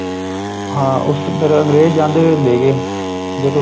ਹਾਂ ਉਸ ਚ ਉੱਧਰ ਅੰਗਰੇਜ ਜਾਂਦੇ ਹੋਏ ਲੈ ਗਏ ਜਦੋ